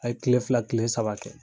A ye kile fila kile saba kɛ.